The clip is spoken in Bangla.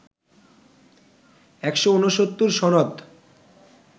১৬৯ সনদ